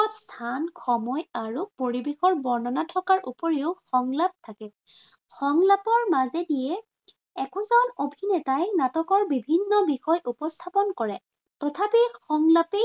স্থান, সময় আৰু পৰিবেশৰ বৰ্ণনা থকাৰ উপৰিও সংলাপ থাকে। সংলাপৰ মাজেদিয়ে একোজন অভিনেতাই নাটকৰ বিভিন্ন বিষয় উপস্থাপন কৰে। তথাপি সংলাপেই